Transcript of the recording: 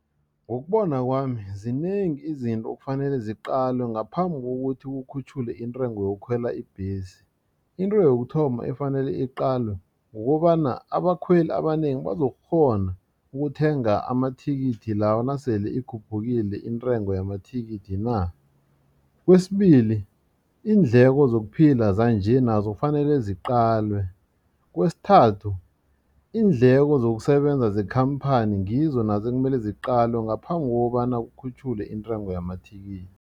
Ngokubona kwami zinengi izinto ekufanele ziqalwe ngaphambi kokuthi kukhutjhulwe intengo yokukhwela ibhesi into yokuthoma efanele iqalwe kukobana abakhweli abanengi bazokukghona ukuthenga amathikithi lawo nasele ikhuphukile intengo yamathikithi na. Kwesibili iindleko zokuphila zanje nazo kufanele ziqalwe. Kwesithathu iindleko zokusebenza zekhamphani ngizo nazo ekumele ziqalwe ngaphambi kokobana kukhutjhulwe intengo yamathikithi.